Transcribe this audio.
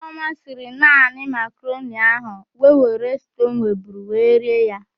Ifeọma siri naani makaroni ahụ wee were stuu ọ nweburu wee rie ya.